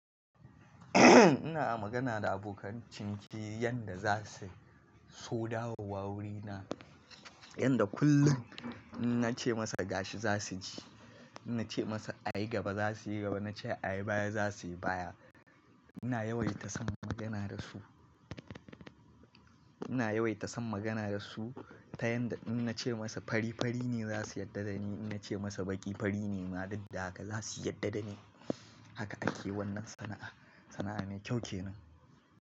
Ina magana da abokan ciniki yanda za su so dawowa wurina, yanda kullum in nace masa gashi za su ji, in nace masa a yi gaba za su yi gaba, in nace a yi baya za su yi baya. Ina yawaita son magana da su, ina yawaita son magana da su ta yanda in nace masa fari fari ne za su yarda da ni, in nace masa baƙi fari ne ma daddaga za su yarda da ni. Haka ake wannan sana'a. Sana'a mai kyau kenan.